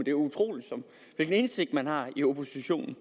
er utroligt hvilken indsigt man har i oppositionen